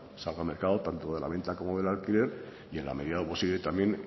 salga al mercado tanto de la venta como del alquiler y en la medida de lo posible también